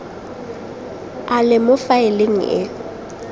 a le mo faeleng e